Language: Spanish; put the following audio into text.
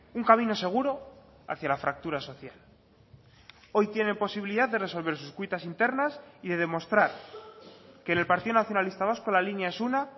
un camino seguro hacia la fractura social hoy tiene posibilidad de resolver sus cuitas internas y de demostrar que en el partido nacionalista vasco la línea es una